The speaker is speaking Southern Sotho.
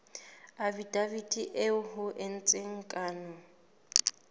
afidaviti eo ho entsweng kano